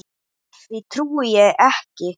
Því trúi ég.